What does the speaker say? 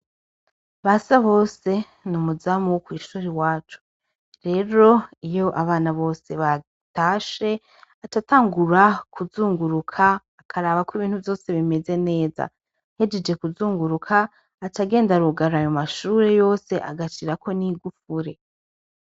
Basa bose ni umuzamu wo kw'ishuri wacu rero iyo abana bose batashe acatangura kuzunguruka akarabako ibintu vyose bimeze neza ahejeje kuzunguruka acagenda arugara ayo mashure yose agasirako n'igufure.